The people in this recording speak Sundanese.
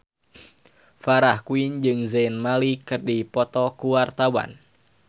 Farah Quinn jeung Zayn Malik keur dipoto ku wartawan